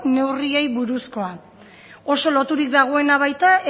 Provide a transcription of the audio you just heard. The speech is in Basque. neurriei buruzkoa oso loturik dago baita